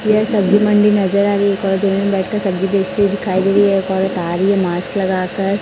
यह सब्जी मंडी नज़र आ रही है एक औरत जमीन में बैठ कर सब्जी बेचती हुई दिखाई दे रही है एक औरत आ रही है मास्क लगा कर --